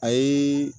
A ye